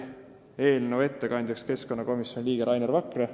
Eelnõu ettekandjaks määrati keskkonnakomisjoni liige Rainer Vakra.